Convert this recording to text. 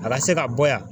A ka se ka bɔ yan